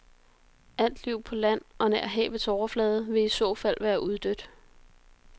Alt liv på land og nær havets overflade vil i så fald være uddødt.